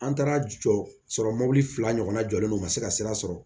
An taara jɔsɔrɔ mɔbili fila ɲɔgɔnna jɔlen don ka se ka sira sɔrɔ